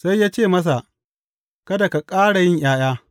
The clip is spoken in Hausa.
Sai ya ce masa, Kada ka ƙara yin ’ya’ya!